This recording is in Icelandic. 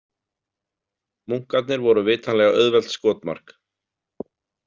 Munkarnir voru vitanlega auðvelt skotmark.